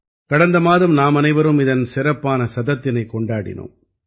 கடந்த மாதம் நாமனைவரும் இதன் சிறப்பான சதத்தினைக் கொண்டாடினோம்